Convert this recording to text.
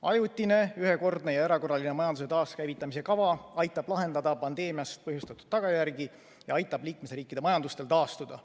Ajutine, ühekordne ja erakorraline majanduse taaskäivitamise kava aitab lahendada pandeemia põhjustatud tagajärgi ja aitab liikmesriikide majandusel taastuda.